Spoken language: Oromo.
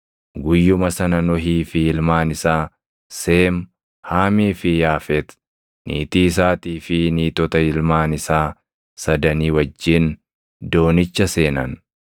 Guyyuma sana Nohii fi ilmaan isaa, Seem, Haamii fi Yaafet, niitii isaatii fi niitota ilmaan isaa sadanii wajjin doonicha seenan.